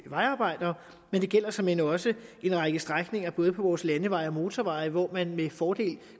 vejarbejdere og det gælder såmænd også en række strækninger på vores landeveje og motorveje hvor man med fordel